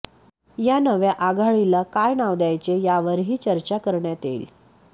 या नव्या आघाडीला काय नाव द्यायचे यावरही चर्चा करण्यात येईल